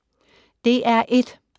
DR1